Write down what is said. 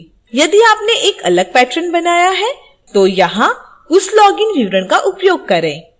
यदि आपने एक अलग partron बनाया है तो यहां उस login विवरण का उपयोग करें